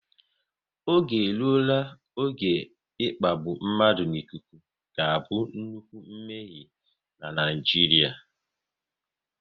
Oge eruola oge ịkpagbu mmadụ n'ikuku ga-abụ nnukwu mmehie n'Naijiria